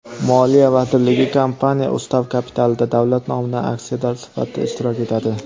Moliya vazirligi kompaniya ustav kapitalida davlat nomidan aksiyador sifatida ishtirok etadi.